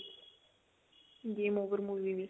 game over movie we